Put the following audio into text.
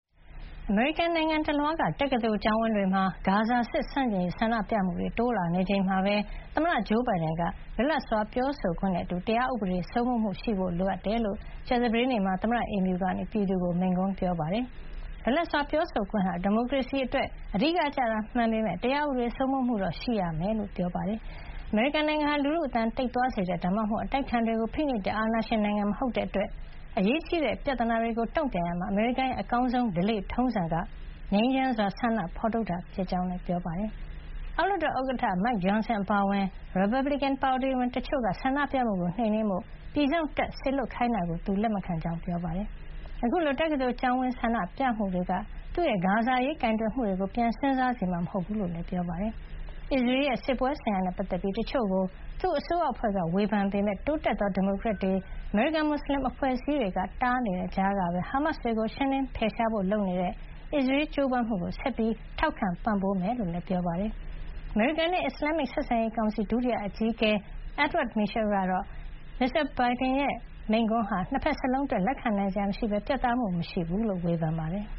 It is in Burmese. အမေရိကန်နိုင်ငံတလွှားက တက္ကသိုလ်ကျောင်းဝင်းတွေမှာ ဂါဇာစစ်ဆန့်ကျင်ရေး ဆန္ဒပြမှုတွေ တိုးလာနေချိန်မှာပဲ သမ္မတဂျိုးဘိုင်ဒန်က လွတ်လပ်စွာ ပြောဆိုခွင့်နဲ့ အတူ တရားဥပဒေစိုးမိုးမှုရှိဖို့ လိုအပ်ကြောင်း ကြာသပတေးနေ့မှာ သမ္မတအိမ်ဖြူကနေ ပြည်သူကို မိန့်ခွန်းပြောကြားခဲ့ပါတယ်။ လွတ်လပ်စွာပြောဆိုခွင့်ဟာ ဒီမိုကရေစီအတွက် အဓိကကျတာ မှန်ပေမယ့် တရားဥပဒေစိုးမိုးမှုတော့ ရှိရမှာဖြစ်ကြောင်း၊ အမေရိကန်နိုင်ငံဟာ လူထုအသံတိတ်သွားစေတဲ့ ဒါမှမဟုတ် အတိုက်အခံတွေကိုဖိနှိပ်တဲ့ အာဏာရှင်နိုင်ငံမဟုတ်တဲ့အတွက် အရေးကြီးတဲ့ပြဿနာတွေကိုတုံ့ပြန်ရာမှာ အမေရိကန်ရဲ့ အကောင်းဆုံးဓလေ့ထုံးစံက ငြိမ်းချမ်းစွာဆန္ဒဖေါ်ထုတ်တာ ဖြစ်ကြောင်းလည်း ပြောပါတယ်။ အောက်လွှတ်တော်ဥက္ကဌ Mike Johnson အပါအဝင် ရီပတ်ဘလစ်ကင်ပါတီဝင်တချို့က ဆန္ဒပြမှုကိုနှိမ်နင်းဖို့ ပြည်စောင့်တပ်စေလွှတ်ခိုင်းတာကို သူလက်မခံကြောင်းလည်း ပြောပါတယ်။ အခုလို တက္ကသိုလ်ကျောင်းဝင်း ဆန္ဒပြမှုတွေက သူ့ရဲ့ဂါဇာအရေးကိုင်တွယ်မှုတွေကို ပြန်စဉ်းစားစေမှာမဟုတ်ဘူးလို့လည်း ပြောပါတယ်။ အစ္စရေးရဲ့စစ်ပွဲဆိုင်ရာနဲ့ ပတ်သက်ပြီးတချို့ကို သူ့အစိုးရအဖွဲ့ကဝေဖန်ခဲ့ပေမဲ့ တိုးတက်သော ဒီမိုကရက်တွေ အမေရိကန်မွတ်ဆလင်အဖွဲအစည်းတွေတားနေတဲ့ကြားကပဲ ဟာမတ်စ်တွေကို ရှင်းလင်းဖယ်ရှားဖို့ လုပ်နေတဲ့ အစ္စရေးရဲ့ကြိုးပမ်းမှုကို ဆက်လက် ထောက်ခံပံ့ပိုးမှာ ဖြစ်ကြောင်းလည်း ပြောပါတယ်။ အမေရိကန်နဲ့ အစ္စလာမ္မစ် ဆက်ဆံရေးဆိုင်ရာကောင်စီ ဒုတိယအကြီးအကဲ Edward Mitchell ကတော့ သမ္မတဘိုင်ဒန်ရဲ့ ဒီမိန့်ခွန်းဟာ ၂ ဘက်စလုံးအတွက် လက်ခံနိုင်စရာမရှိဘဲ ပြတ်သားမှုမရှိဘူးလို့ ဝေဖန်ပါတယ်။